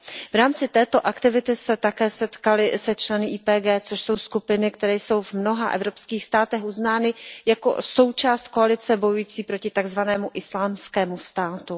V rámci této aktivity se také setkali se členy IPG, což jsou skupiny, které jsou v mnoha evropských státech uznány jako součást koalice bojující proti takzvanému Islámskému státu.